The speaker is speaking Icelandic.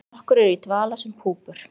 Nokkur eru í dvala sem púpur.